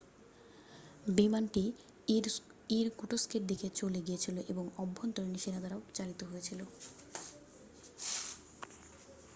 বিমানটি ইরকুটস্কের দিকে চলে গিয়েছিল এবং আভ্যন্তরীণ সেনা দ্বারা চালিত হয়েছিল